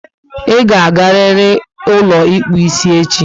I ga agariri ụlọ ịkpụ isi echi!